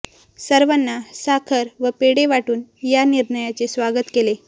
सर्वांना साखर व पेढे वाटून या निर्णयाचे स्वागत केले